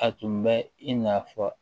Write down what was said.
A tun bɛ i n'a fɔ